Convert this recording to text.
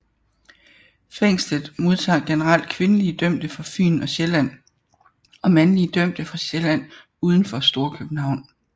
Fængslet modtager generelt kvindelige dømte fra Fyn og Sjælland og mandlige dømte fra Sjælland uden for Storkøbenhavn